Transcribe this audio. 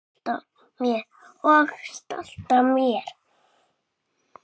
Og stolt af mér.